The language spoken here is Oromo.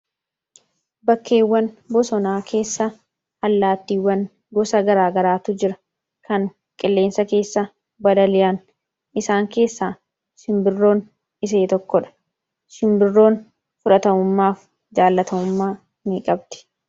Bakkeewwan bosonaa keessa allaattiiwwan gosa garaagaraatu jira. Kan qilleensa keessa balali'an isaan keessaa simbirroon ishee tokkodha. Simbirroon fudhatamummaa jaallatamummaa ni qabdi.